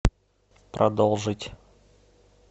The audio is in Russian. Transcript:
продолжить